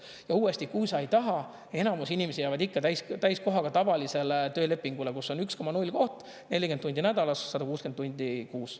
Ja uuesti, kui sa ei taha, enamus inimesi jäävad ikka täiskohaga tavalisele töölepingule, kus on 1,0 koht 40 tundi nädalas 160 tundi kuus.